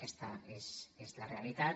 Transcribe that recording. aquesta és la realitat